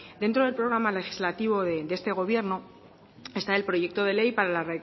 dentro del programa legislativo de este gobierno está el proyecto de ley para la